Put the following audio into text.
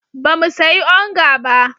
Ba mu sayi onga ba.